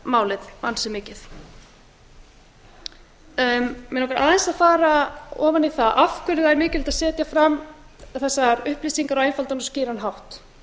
málið ansi mikið mig langar aðeins að fara ofan í það af hverju það er mikilvægt að setja fram þessar upplýsingar á einfaldan og skýran hátt